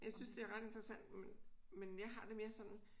Jeg synes det er ret interessant men jeg har det mere sådan